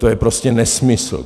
To je prostě nesmysl.